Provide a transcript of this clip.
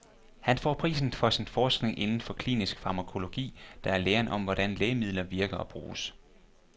Han får prisen for sin forskning indenfor klinisk farmakologi, der er læren om, hvordan lægemidler virker og bruges.